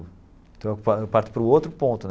Então, eu parto para o outro ponto né.